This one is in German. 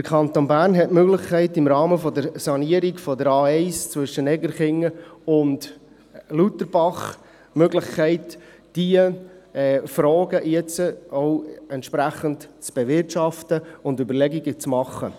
Der Kanton Bern hat die Möglichkeit, im Rahmen der Sanierung der A1 zwischen Egerkingen und Luterbach diese Fragen jetzt auch entsprechend zu bewirtschaften und Überlegungen anzustellen.